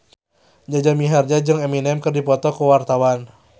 Jaja Mihardja jeung Eminem keur dipoto ku wartawan